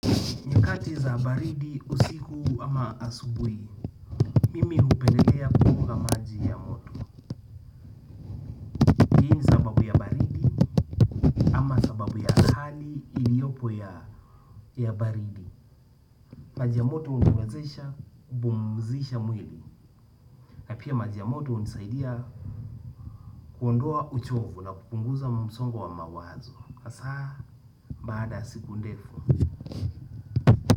Nyakati za baridi usiku ama asubuhi, mimi hupendelea kukunywa maji ya moto. Ni sababu ya baridi, ama sababu ya hali iliyopo ya baridi. Maji ya moto huniwezesha kupumzisha mwili. Na pia maji ya moto hunisaidia kuondoa uchovu na kupunguza msongo wa mawazo. Hasa baada ya siku ndefu.